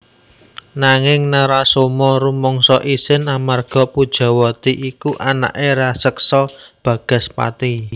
Nanging Narasoma rumangsa isin amarga Pujawati iku anaké raseksa Bagaspati